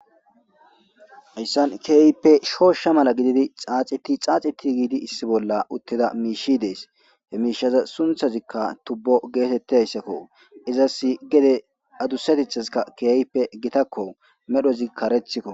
Hasan kehipe shosha mala gididi xaeti xaxeti gidi issi bolla utida mish des mishazas sunthazika tubo getetizaysakko izasi gede adusatethka kehipe gitakko medhozi karethiko